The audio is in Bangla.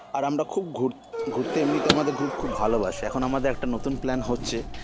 আর আমরা খুব ঘুর ঘুরতে এমনিতে আমাদের group খুব ভালোবাসে এখন আমাদের একটা নতুন plan হচ্ছে